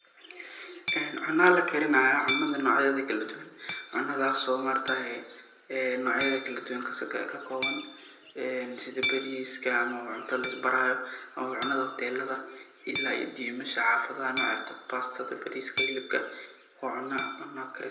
Cuna lakarinayaa. Cunadaas oo noc yaa kaladuwan ah oo kakoban sidha bariska ama cuna lais barayo ama cunada hotelada ila iyo dimasha xafadaha waa cuna.